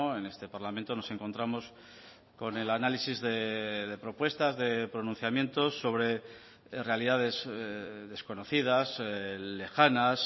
en este parlamento nos encontramos con el análisis de propuestas de pronunciamientos sobre realidades desconocidas lejanas